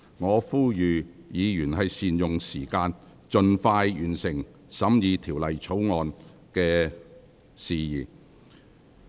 我再次呼籲議員善用議會時間，盡快完成審議《條例草案》。